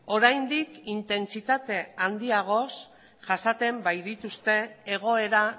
oraindik intentsitate handiagoz jasaten baitituzte egoera